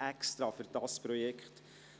Man löste denn auch speziell für dieses Projekt